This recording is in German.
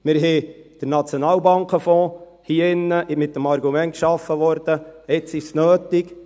Wir schufen hier drinnen den Nationalbank-Fonds mit dem Argument: «Jetzt ist es nötig.